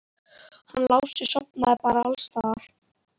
Hann Lási sofnar bara alls staðar.